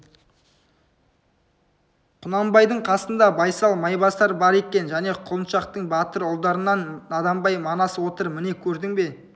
құнанбайдың қасында байсал майбасар бар екен және құлыншақтың батыр ұлдарынан наданбай манас отыр міне көрдің бе